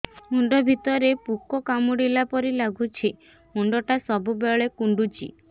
ମୁଣ୍ଡ ଭିତରେ ପୁକ କାମୁଡ଼ିଲା ପରି ଲାଗୁଛି ମୁଣ୍ଡ ଟା ସବୁବେଳେ କୁଣ୍ଡୁଚି